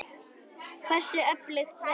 Hversu öflugt verður þetta?